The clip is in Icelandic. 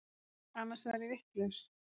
Annars verð ég vitlaus.